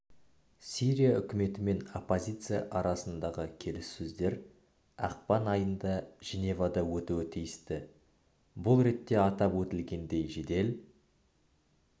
срия үкіметі мен оппозиция арасындағы келіссөздер ақпан айында женевада өтуі тиісті бұл ретте атап өтілгендей жедел